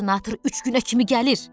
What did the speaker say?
Qubernator üç günə kimi gəlir.